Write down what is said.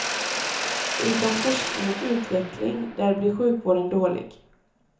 Utan forskning och utveckling där blir sjukvården dålig.